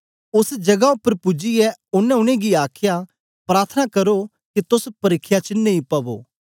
ओस जगा उपर पूजियै ओनें उनेंगी आखया प्रार्थना करो के तोस परिख्या च नेई पवो